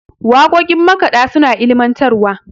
waƙoƙin makaɗa suna da ilimantarwa